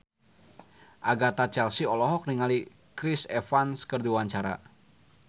Agatha Chelsea olohok ningali Chris Evans keur diwawancara